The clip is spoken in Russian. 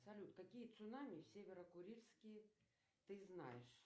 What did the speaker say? салют какие цунами северо курильские ты знаешь